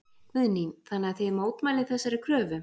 Guðný: Þannig að þið mótmælið þessari kröfu?